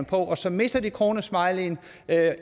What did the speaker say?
på og så mister de kronesmileyen